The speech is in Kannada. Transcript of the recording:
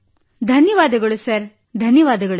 ಧನ್ಯವಾದಗಳು ಧನ್ಯವಾದಗಳು ಸರ್